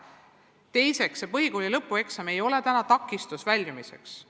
Ja teiseks, põhikooli lõpueksam ei ole täna koolist väljumisel takistuseks.